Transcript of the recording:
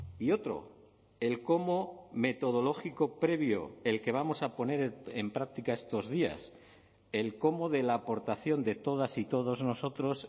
y otro el cómo metodológico previo el que vamos a poner en práctica estos días el cómo de la aportación de todas y todos nosotros